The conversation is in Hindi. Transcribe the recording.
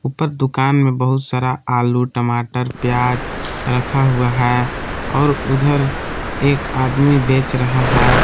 उपर दुकान मे बहुत सारा आलू टमाटर प्याज रखा हुआ है और उधर एक आदमी बेच रहा है।